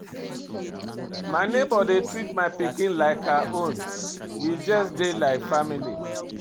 My nebor dey treat my pikin like her own, we just dey like family.